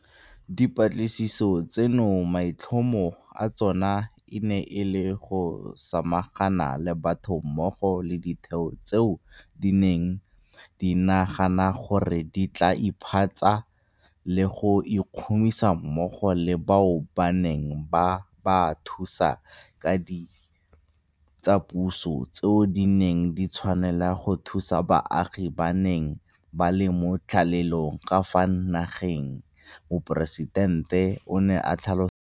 Dipatlisiso tseno maitlhomo a tsona e ne e le go samagana le batho mmogo le ditheo tseo di neng di nagana gore di tla iphantsha le go ikhumisa mmogo le bao ba neng ba ba thusa ka ditsapuso tseo di neng di tshwanela go thusa baagi ba ba neng ba le mo tlalelong ka fa nageng, Moporesitente o ne a tlhalosa jalo.